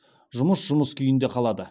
жұмыс жұмыс күйінде қалады